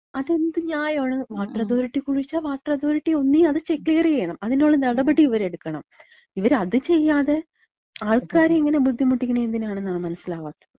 അതെന്ത് ന്യായാണ്. വാട്ടറതോറിറ്റി കുഴിച്ചാ വാട്ടറതോറിറ്റി ഒന്നീ അത് ചെ, ക്ലിയറെയ്യണം. അതിന്ള്ള നടപടിയവര് എട്ക്കണം. ഇവരത് ചെയ്യാതെ ആൾക്കാരെ ഇങ്ങനെ ബുദ്ധിമുട്ടിക്ക്ന്നതെന്തിനാണെന്നാ മനസ്സിലാവാത്ത. മ്.